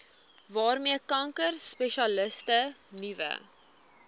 waarmee kankerspesialiste nuwe